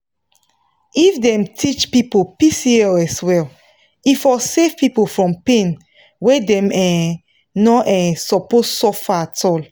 if dem teach people pcos well e for save people from pain wey dem um no um suppose suffer at all.